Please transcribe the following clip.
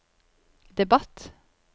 debatt